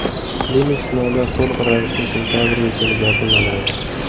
Klinik sinovlar to‘liq ravishda sentabrga kelib yakunlanadi.